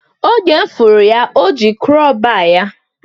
Oge mụ fụrụ ya, o ji kro baa ya